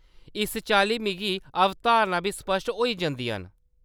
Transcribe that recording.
इस चाल्ली मिगी अवधारणां बी स्पष्ट होई जंदियां न।